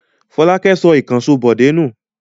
Fọlákẹ́ sọ ìkànṣó Bọ̀dé nù?